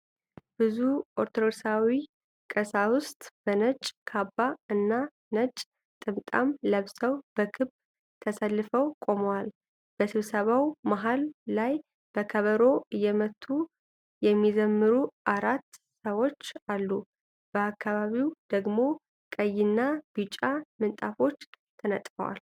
ብዙ ኦርቶዶክሳዊ ቀሳውስት በነጭ ካባ እና ነጭ ጥምጣም ለብሰው በክብ ተሰልፈው ቆመዋል። በስብሰባው መሃል ላይ በከበሮ እየመቱ የሚዘምሩ አራት ሰዎች አሉ፤ በአካባቢው ደግሞ ቀይና ቢጫ ምንጣፎች ተነጥፈዋል።